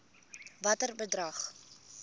watter bedrag